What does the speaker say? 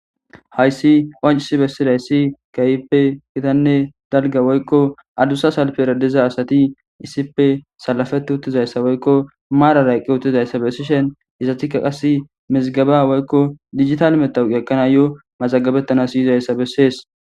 Hayssi qoncisi bessidaysi keehippe gitanne dalga woykko adussa salpera diza asati issippe salafeti uttidayssa woykko maarara eqqi utidayssa bessishin izetikka qas mizgaba woykko dijitale matawoqa ekkanayo mazagabettanas yizayssa bessees.